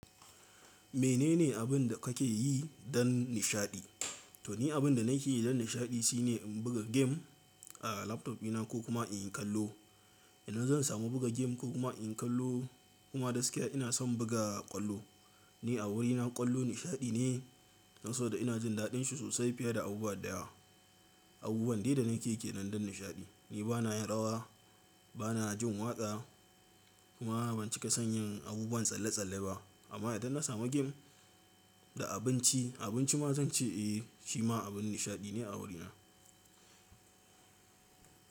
Menene abin da kake yi don nishaɗi? To ni abin da nake yi don nishaɗi shine in buga game a laptop ɗina ko kuma in yi kallo. Idan zan samu buga game ko kuma in yi kallo kuma gaskiya ina son buga ƙwallo. Ni a wurina ƙwallo nishaɗi ne, saboda ina jin daɗin shi sosai fiye da abubuwa daya. Abubuwan dai da nake yake nan don nishaɗi. Ni bana yin rawa, bana jin waƙa kuma ban cika son yin abubuwan tsalle tsalle ba. Amma idan na samu gem da abinci, abinci ma zan ce eh shi ma abin nishaɗi ne a wurina.